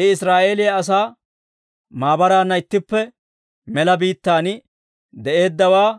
I Israa'eeliyaa asaa maabaraanna ittippe mela biittaan de'eeddawaa;